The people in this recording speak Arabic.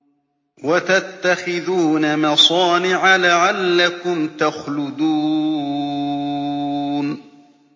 وَتَتَّخِذُونَ مَصَانِعَ لَعَلَّكُمْ تَخْلُدُونَ